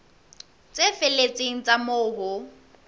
tse felletseng tsa moo ho